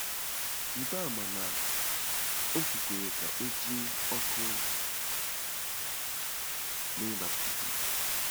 Rịba ama na o kwukwara ka e ji ọkụ mee baptizim.